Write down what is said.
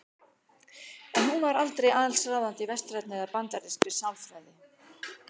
En hún var aldrei allsráðandi í vestrænni eða bandarískri sálfræði.